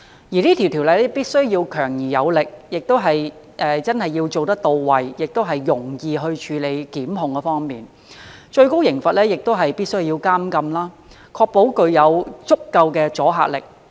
這項條例必須強而有力，並且實行時真的到位，在檢控方面亦要容易處理，最高刑罰必須是監禁，以確保具有足夠阻嚇力。